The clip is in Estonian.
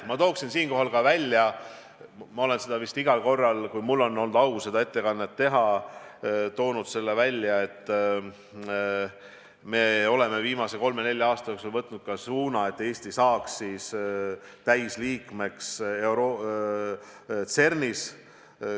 Ma tooksin siinkohal veel esile – olen seda vist öelnud igal korral, kui mul on olnud au siin selleteemalist ettekannet teha –, et me oleme viimase kolme-nelja aasta jooksul võtnud suuna, et Eesti saaks täisliikmeks CERN-is.